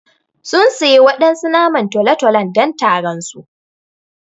Sun siya waɗansu naman tolo-tolo don taron su.